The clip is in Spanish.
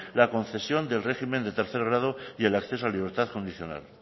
la concesión del régimen de tercer grado y el acceso a libertad condicional